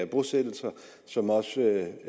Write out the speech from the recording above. bosættelser som også